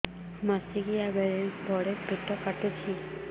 ମାସିକିଆ ବେଳେ ବଡେ ପେଟ କାଟୁଚି